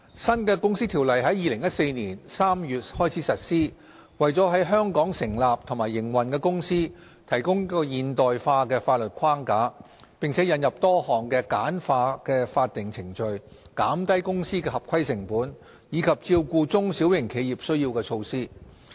新《條例》在2014年3月開始實施，為在香港成立和營運的公司提供現代化的法律框架，並引入多項簡化法定程序、減低公司合規成本，以及照顧中小型企業需要的措施。